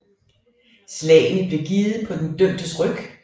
Slagene blev givet på den dømtes ryg